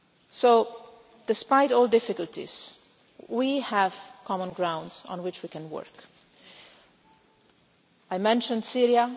state. So despite all the difficulties, we have common ground on which we can work. I have mentioned